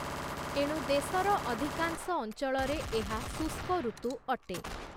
ଏଣୁ ଦେଶର ଅଧିକାଂଶ ଅଞ୍ଚଳରେ ଏହା ଶୁଷ୍କଋତୁ ଅଟେ ।